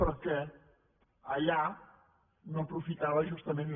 perquè allà no aprofitava justament